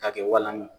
K'a kɛ walan ye